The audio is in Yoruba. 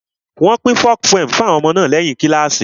Wọ́n pín folk poems fún àwọn ọmọ náà lẹ́yìn kíláàsì